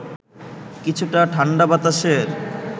কিছুটা ঠাণ্ডা বাতাসের